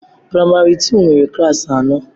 Praịmari tuu nwere klassị anọ